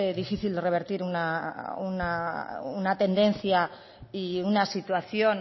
difícil de revertir una tendencia y una situación